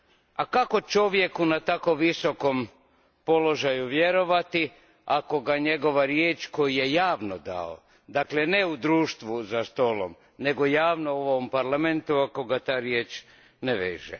A kako čovjeku na tako visokom položaju vjerovati, ako ga njegova riječ koju je javno dao, dakle ne u društvu za stolom nego javno u ovom Parlamentu, ako ga ta riječ ne veže.